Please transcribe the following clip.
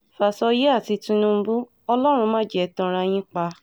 fàsọyé àti tinúbù ọlọ́run mà jẹ ẹ́ tanra yín pa